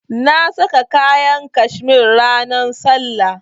Na sa kayan cashmere ranan sallah.